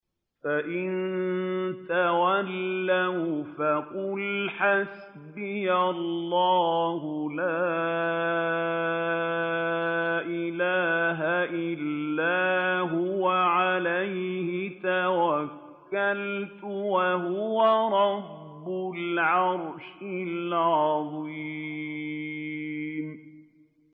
فَإِن تَوَلَّوْا فَقُلْ حَسْبِيَ اللَّهُ لَا إِلَٰهَ إِلَّا هُوَ ۖ عَلَيْهِ تَوَكَّلْتُ ۖ وَهُوَ رَبُّ الْعَرْشِ الْعَظِيمِ